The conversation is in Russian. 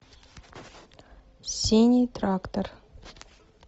синий трактор